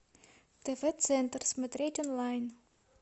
тв центр смотреть онлайн